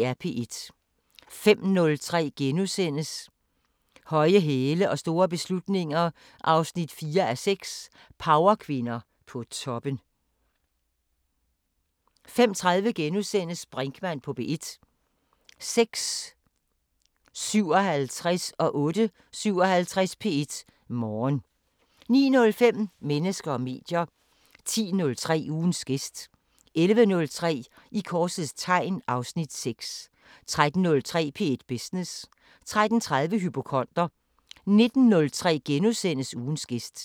05:03: Høje hæle og store beslutninger 4:6 – Powerkvinder på toppen * 05:30: Brinkmann på P1 * 06:57: P1 Morgen 08:57: P1 Morgen 09:05: Mennesker og medier 10:03: Ugens gæst 11:03: I korsets tegn (Afs. 6) 13:03: P1 Business 13:30: Hypokonder 19:03: Ugens gæst *